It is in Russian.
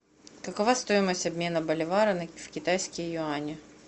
какова стоимость обмена боливара в китайские юани